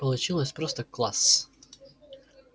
получилось просто класс